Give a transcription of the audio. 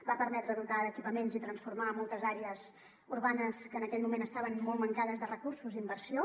va permetre dotar d’equi·paments i transformar moltes àrees urbanes que en aquell moment estaven molt mancades de recursos i inversió